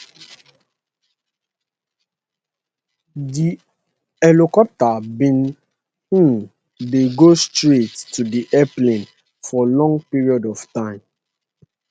di helicopter bin um dey go straight to di airplane for long period of time